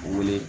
Wele